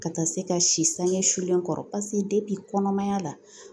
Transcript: Ka taa se ka si sange sulen kɔrɔ paseke kɔnɔmaya la